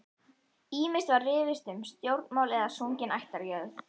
Ýmist var rifist um stjórnmál eða sungin ættjarðarlög.